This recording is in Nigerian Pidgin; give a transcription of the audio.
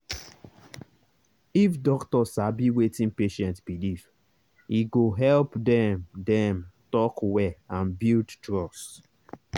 if doctor sabi wetin patient believe e go help dem dem talk well and build trust.